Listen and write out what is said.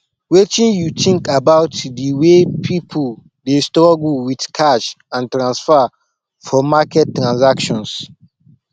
wetin you think about di way people dey struggle with cash and transfer for market transactions